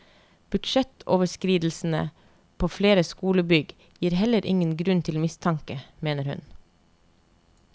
Budsjettoverskridelsene på flere skolebygg gir heller ingen grunn til mistanke, mener hun.